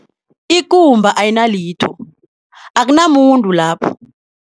Akumba ayinalitho- akunamuntu lapho.